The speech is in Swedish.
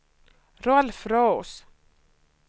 Rolf Roos